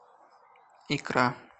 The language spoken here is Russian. икра